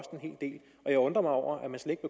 jeg undrer mig over